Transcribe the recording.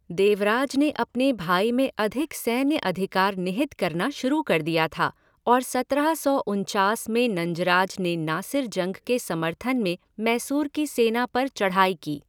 देवराज ने अपने भाई में अधिक सैन्य अधिकार निहित करना शुरू कर दिया था और सत्रह सौ उनचास में नंजराज ने नासिर जंग के समर्थन में मैसूर की सेना पर चढ़ाई की।